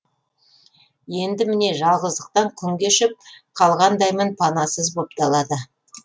енді міне жалғыздықтан күн кешіп қалғандаймын панасыз боп далада